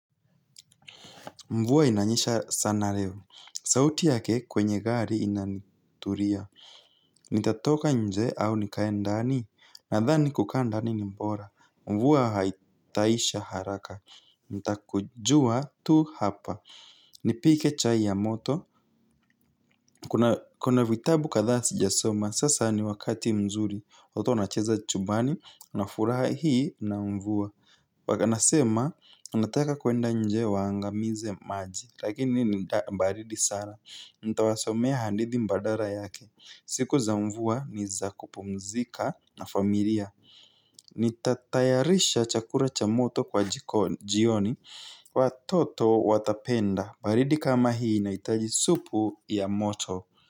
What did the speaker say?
Mvuwa inanyesha sana leo. Sauti yake kwenye gari inanituria. Nitatoka nje au nikae ndani? Nadhani kukaa ndani ni mbora. Mvua haitaisha haraka. Nitakujua tu hapa. Nipike chai ya moto. Kuna vitabu kadhaa sijasoma. Sasa ni wakati mzuri. Oto anacheza chumbani. Unafuraha hii na mvua. Wa nasema. Wanataka kuenda nje waangamize maji. Lakini baridi sana. Ntawasomea handithi mbadara yake. Siku za mvua ni za kupumzika na familia. Nitatayarisha chakura cha moto kwa jiko jioni. Watoto watapenda. Baridi kama hii inahitaji supu ya moto.